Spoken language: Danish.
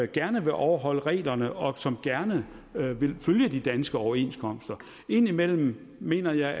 gerne vil overholde reglerne og som gerne vil følge de danske overenskomster indimellem mener jeg